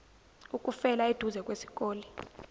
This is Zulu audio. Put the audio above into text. ukufela eduze kwesikole